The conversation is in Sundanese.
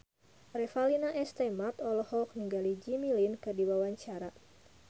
Revalina S. Temat olohok ningali Jimmy Lin keur diwawancara